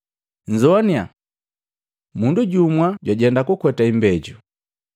“Nzoanya! Mundu jumu jwajenda kukweta imbejo.